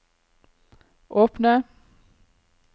åpne